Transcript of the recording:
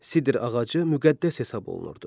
Sidr ağacı müqəddəs hesab olunurdu.